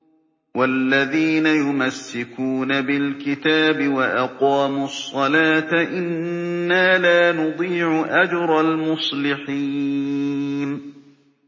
وَالَّذِينَ يُمَسِّكُونَ بِالْكِتَابِ وَأَقَامُوا الصَّلَاةَ إِنَّا لَا نُضِيعُ أَجْرَ الْمُصْلِحِينَ